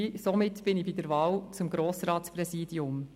Somit bin ich bei der Wahl des Grossratspräsidiums.